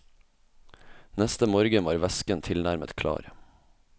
Neste morgen var væsken tilnærmet klar.